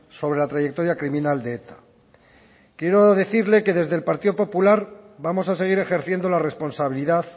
sobre la trayectoria criminal de eta quiero decirle que desde el partido popular vamos a seguir ejerciendo la responsabilidad